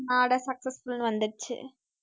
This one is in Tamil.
order successful ன்னு வந்திடுச்சு